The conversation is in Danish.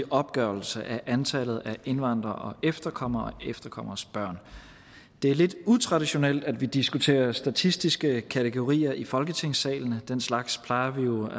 opgørelse af antallet af indvandrere og efterkommere og efterkommeres børn det er lidt utraditionelt at vi diskuterer statistiske kategorier i folketingssalen den slags plejer vi jo